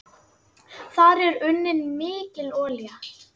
Þar er unnin mikil olía.